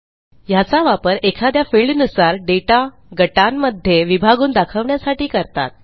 ह्याचा वापर एखाद्या फिल्डनुसार दाता गटांमध्ये विभागून दाखवण्यासाठी करतात